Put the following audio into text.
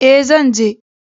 E, zan je.